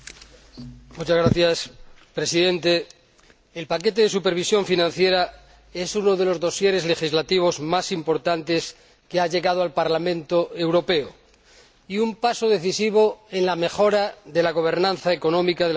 Señor Presidente, el paquete de supervisión financiera es uno de los dosieres legislativos más importantes que ha llegado al Parlamento Europeo y un paso decisivo en la mejora de la gobernanza económica de la Unión Europea.